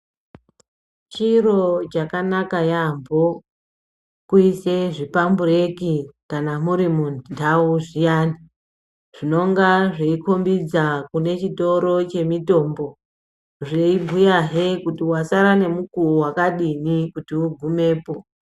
Chiro chakanaka yaamho chekuisa zvipambureki kana muti mundau zviyani zvinonga zveikombidza kune chitorochemitombo zveibhuyazve kuti wasara nemukuwo wakadini kuti ugumepo.